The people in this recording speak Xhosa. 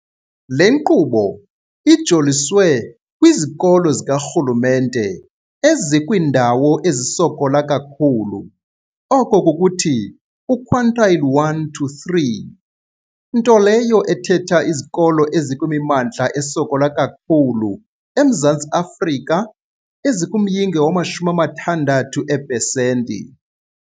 Le nkqubo ijoliswe kwizikolo zikarhulumente ezikwiindawo ezisokola kakhulu, oko kukuthi u-quintile 1-3, into leyo ethetha izikolo ezikwimimmandla esokola kakhulu eMzantsi Afrika ezikumyinge wama-60 eepesenti.